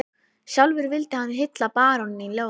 Sjálfur vildi hann hylla baróninn í ljóði